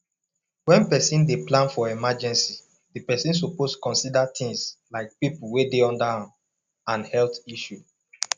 when person dey plan for emergecy di person suppose consider things like pipo wey dey under am and health issue